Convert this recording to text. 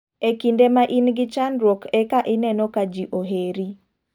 E kinde ma in gi chandruok eka ineno ka ji oheri.